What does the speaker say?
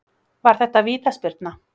Var þetta vítaspyrna?